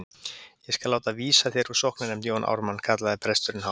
Ég skal láta vísa þér úr sóknarnefnd Jón Ármann, kallaði presturinn hátt.